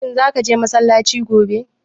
Shin za ka je massalaci gobe?